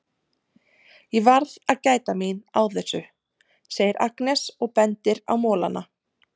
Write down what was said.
Ég verð að gæta mín á þessum, segir Agnes og bendir á molana.